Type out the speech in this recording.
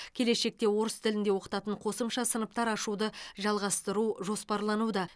келешекте орыс тілінде оқытатын қосымша сыныптар ашуды жалғастыру жоспарлануда